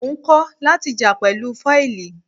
Mò ń kọ́ láti jà pẹ̀lú fọ́ìlì.